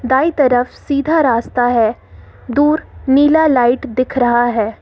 दाई तरफ सीधा रास्ता है दूर नीला लाइट दिख रहा है।